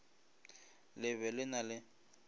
le be le na le